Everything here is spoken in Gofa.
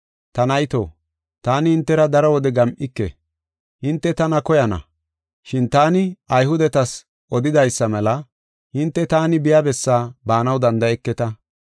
Ta nayto, taani hintera daro wode gam7ike. Hinte tana koyana, shin taani Ayhudetas odidaysa mela, ‘Hinte taani biya bessaa baanaw danda7eketa.’